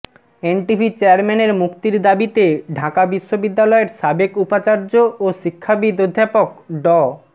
NTV চেয়ারম্যানের মুক্তির দাবিতে ঢাকা বিশ্ববিদ্যালয়ের সাবেক উপাচার্য ও শিক্ষাবিদ অধ্যাপক ড